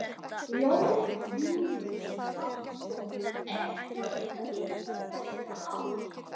Jón Júlíus Karlsson: Er þetta ykkar besta ár?